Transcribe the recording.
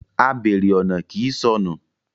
A béèrè ọ̀nà kii sọnù.